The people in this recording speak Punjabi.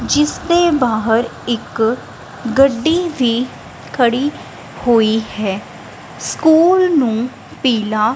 ਜਿਸ ਦੇ ਬਾਹਰ ਇੱਕ ਗੱਡੀ ਵੀ ਖੜੀ ਹੋਈ ਹੈ ਸਕੂਲ ਨੂੰ ਪੀਲਾ--